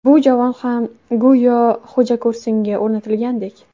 Bu javon ham go‘yo xo‘jako‘rsinga o‘rnatilgandek.